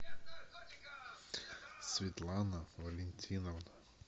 светлана валентиновна